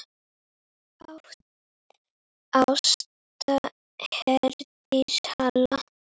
Ásta Herdís Hall.